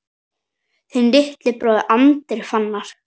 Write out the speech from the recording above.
Þinn litli bróðir, Andri Fannar.